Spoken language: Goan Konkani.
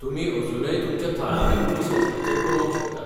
तुमी अजूनय तुमच्या थळाव्या पुलीस स्टेशनाचेर कळोवंक शकतात.